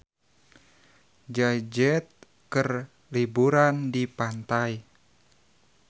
Jay Z keur liburan di pantai